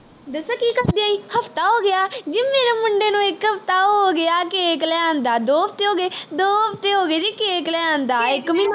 ਹੋ ਗਿਆ cake ਲੈਣ ਆ ਦਾ ਦੋ ਹਫਤੇ ਹੋ ਗਏ ਦੋ ਹਫਤੇ ਹੋ ਗਏ ਜੀ cake ਲੈਣ ਆ ਦਾ ਇਕ ਮਹੀਨਾ ਹੋ ਗਿਆ